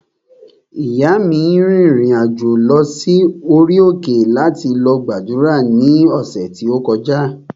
Ìyáa mi rìnrìn-àjò lọ sí orí òkè láti lọ gbàdúrà ní ọ̀sẹ̀ tí ó kọjá